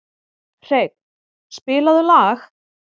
Hreinn, spilaðu lag.